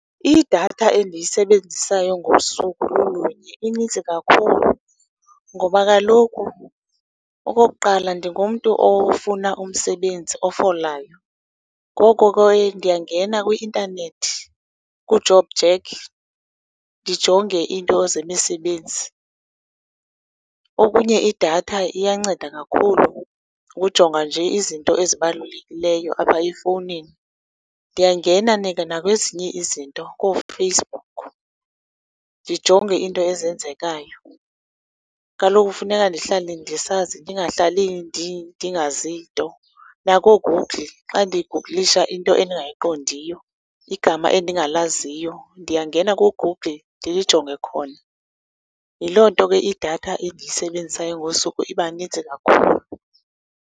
Idatha endiyisebenzisayo ngosuku lulunye inintsi kakhulu ngoba kaloku okokuqala, ndingumntu ofuna umsebenzi, ofolayo, ngoko ke ndiyangena kwi-intanethi, kuJOBJACK, ndijonge iinto zemisebenzi. Okunye, idatha iyanceda kakhulu ukujonga nje izinto ezibalulekileyo apha efowunini. Ndiyangena nakwezinye izinto, kooFacebook, ndijonge iinto ezenzekayo. Kaloku kufuneka ndihlale ndisazi, ndingahlali ndingazi nto. NakooGoogle, xa ndiguglisha into endingayiqondiyo, igama endingalaziyo. Ndiyangena kuGoogle ndilijonge khona. Yiloo nto ke idatha endiyisebenzisayo ngosuku iba nintsi kakhulu.